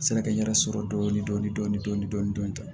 Sɛnɛkɛ n yɛrɛ sɔrɔ dɔɔnin dɔɔnin